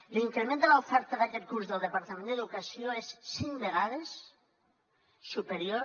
l’increment de l’oferta d’aquest curs del departament d’educació és cinc vegades superior